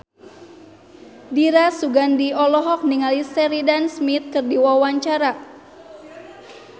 Dira Sugandi olohok ningali Sheridan Smith keur diwawancara